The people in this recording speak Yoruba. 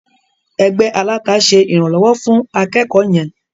Ẹgbẹ́ aláta ṣe ìrànlọ́wọ́ fún akẹ́kọ̀ọ́ yẹn.